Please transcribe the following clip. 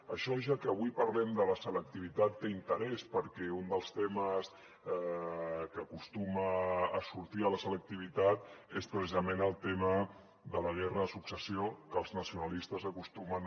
això ja que avui parlem de la selectivitat té interès perquè un dels temes que acostuma a sortir a la selectivitat és precisament el tema de la guerra de successió que els nacionalistes acostumen